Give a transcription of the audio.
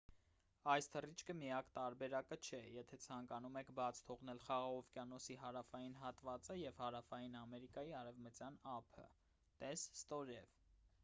այս թռիչքը միակ տարբերակը չէ եթե ցանկանում եք բաց թողնել խաղաղ օվկիանոսի հարավային հատվածը և հարավային ամերիկայի արևտյան ափը: տես ստորև